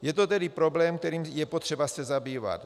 Je to tedy problém, kterým je potřeba se zabývat.